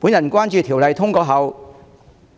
我關注《條例草案》通過後